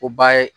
O ba ye